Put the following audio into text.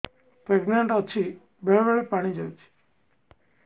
pregnant ଅଛି ବେଳେ ବେଳେ ପାଣି ଯାଉଛି